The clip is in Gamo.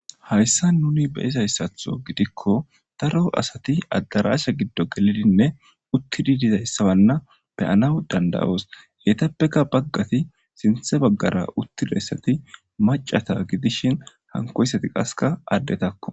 hayssa nuni beyizayssatho gidikko daro asati addarasha giddo gelidinne uttidi dizayssabanna beyanaw dandayos yetappeka baggati sinthe baggara uttidayssati macata gidishin hankoyssati qaska addetakko